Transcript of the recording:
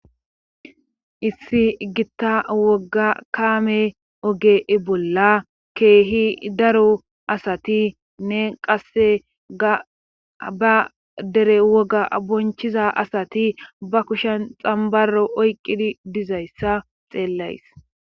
issi gitta woga kaame oge bolla keehi daro asati nne qasse ga ba dere woga bonchiza asati ba kushen xambaro oyqqidi dizayssa xeellays